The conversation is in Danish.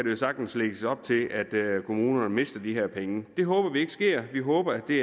jo sagtens lægges op til at kommunerne mister de her penge det håber vi ikke sker vi håber at det